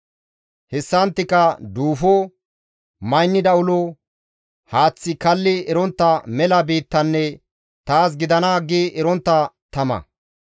Hessanttika duufo, maynida ulo, haaththi kalli erontta mela biittanne, ‹Taas gidana!› gi erontta tama.